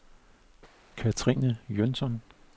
Katrine Jønsson